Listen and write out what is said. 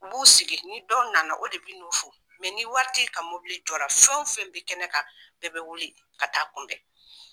U b'u sigi ni dɔ nana o de bɛ n'u fo ni waritigi ka mobili jɔra fɛn o fɛn bɛ kɛnɛ kan bɛɛ bɛ wuli ka taa a kunbɛn